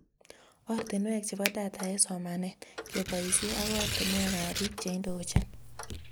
Ortinwek chebo data eng somanet, keboisie ak ortinwekab biik cheindochin